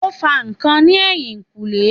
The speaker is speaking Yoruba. Ó ń fa ǹkan ní ẹ̀yìnkùlé